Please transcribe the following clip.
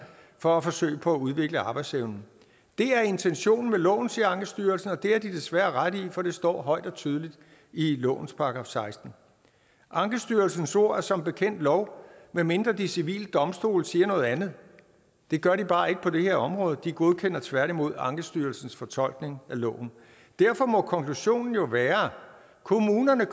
for at forsøge på at udvikle arbejdsevnen det er intentionen med loven siger ankestyrelsen og det har de desværre ret i for det står højt og tydeligt i lovens § sekstende ankestyrelsens ord er som bekendt lov medmindre de civile domstole siger noget andet det gør de bare ikke på det her område de godkender tværtimod ankestyrelsens fortolkning af loven derfor må konklusionen jo være at kommunerne